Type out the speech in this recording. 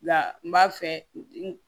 Nka n b'a fɛ n